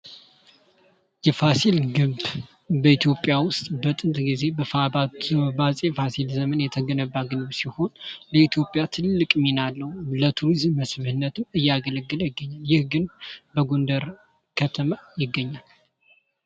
የፋሲል ግንብ በኢትዮጵያ ውስጥ በጥንት ጊዜ በአጼ ፋሲል ዘመን የተገነባ ግንብ ሲሆን በኢትዮጵያ ትልቅ ሚና አለው። ለቱሪዝም መስህብነትም እያገለገለ ይገኛል። ይህ ግንብ በጎንደር ከተማ ይገኛል።